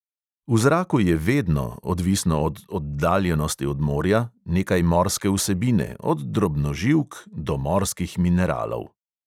V zraku je vedno, odvisno od oddaljenosti od morja, nekaj morske vsebine, od drobnoživk do morskih mineralov.